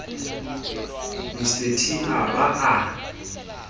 mr t a ba a